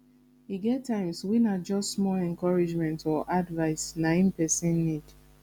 e get times wey na just small encouragement or advise na em pesin need